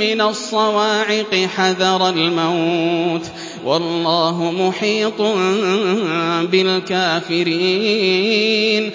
مِّنَ الصَّوَاعِقِ حَذَرَ الْمَوْتِ ۚ وَاللَّهُ مُحِيطٌ بِالْكَافِرِينَ